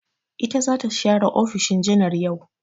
Ita za ta share ofishin janar yau.